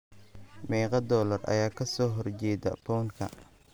meeqa dollar ayaa ka soo horjeeda pound-ka